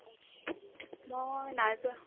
মই নাযাও